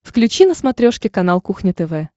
включи на смотрешке канал кухня тв